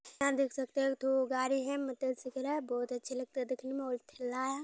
यहां देख सकते हो एकठो गाड़ी हेय मोटर साइकिल हेय बहुत अच्छे लगते हैं देखने में और ठेला हेय।